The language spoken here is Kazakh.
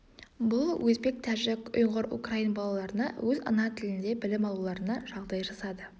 бұл өзбек тәжік ұйғыр украин балаларына өз ана тілінде білім алуларына жағдай жасады